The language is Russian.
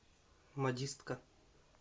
модистка